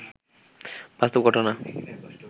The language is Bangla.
বাস্তব ঘটনা